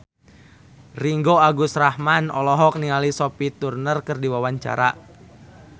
Ringgo Agus Rahman olohok ningali Sophie Turner keur diwawancara